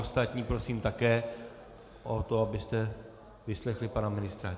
Ostatní prosím také o to, abyste vyslechli pana ministra.